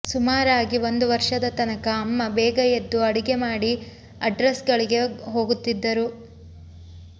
ಸುಮಾರಾಗಿ ಒಂದು ವರ್ಷದ ತನಕ ಅಮ್ಮ ಬೇಗ ಎದ್ದು ಅಡುಗೆ ಮಾಡಿ ಅಡ್ರೆಸ್ಗಳಿಗೆ ಹೋಗುತ್ತಿದ್ದರು